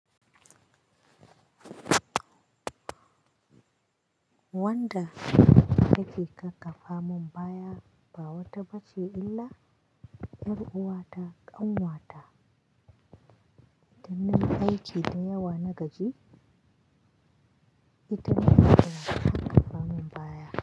Wanda yake kakkafa min baya ba wata ba ce illa 'yar uwata ƙan wata. Idan nayi aiki da yawa na gaji ita na sawa ta kakkafa min baya.